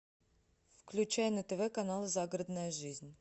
включай на тв канал загородная жизнь